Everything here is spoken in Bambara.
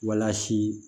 Walasi